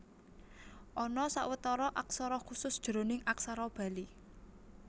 Ana sawetara aksara khusus jroning aksara Bali